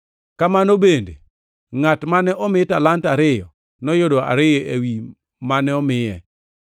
Kamano bende, ngʼat mane omi talanta ariyo noyudo ariyo ewi mane omiye.